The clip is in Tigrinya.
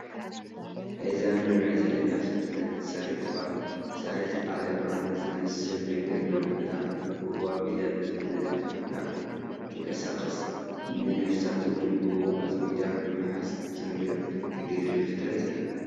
እዛ ንሪኣ ዘለና ፍጥረት ሳሬት ትበሃል፡፡ ሳሬት ዓለባ ዝመስል ነገር ብምእላም ብኡኡ ኣቢላ ብፍጥነት ካብ ናብ ትንቀሳቐስ ንነፍሳት እውን ብኡኡ ኣፅሚዳ ብምሓዝ ትምገብ፡፡ ተግርም ፍጥረት እያ፡፡